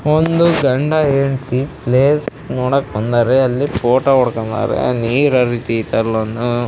ಒಂದು ಗಂಡ ಹೆಂಡ್ತಿ ಪ್ಲೇಸ್ ನೋಡಕ್ಕೆ ಬಂದಾರೆ ಅಲ್ಲಿ ಫೋಟೋ ಹೊಡುಕೊಂಡಾರೆ ನೀರು ಹರಿತಿದೆ.